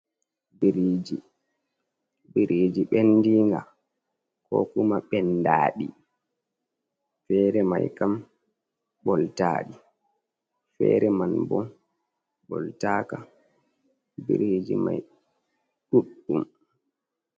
Biriji: Biriji ɓendinga kokuma ɓendaɗi. Fere mai kam ɓoltaɗi, fere man bo ɓoltaka biriji mai ɗuɗɗum.